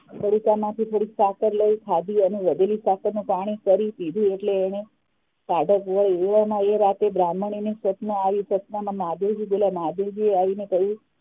પડિકામાંથી થોડીક સાકાર લઇ ખાધી અને વધેલી સાકાર નું પાણી કરી પીધું એટલે એને ટાઢક વાઈ એવામાં એ રાતે બ્રાહ્મણી ને સપનું આવ્યું સપનામાં મહાદેવજી બોલ્યા મહાદેવજીએ આવીને કહ્યું